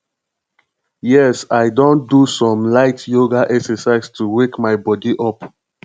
yes i don do some light yoga exercise to wake my body up